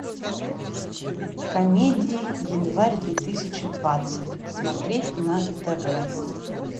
комедии январь две тысячи двадцать смотреть на тв